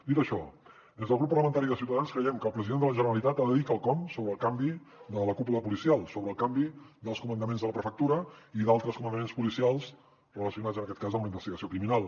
dit això des del grup parlamentari de ciutadans creiem que el president de la generalitat ha de dir quelcom sobre el canvi de la cúpula policial sobre el canvi dels comandaments de la prefectura i d’altres comandaments policials relacionats en aquest cas amb la investigació criminal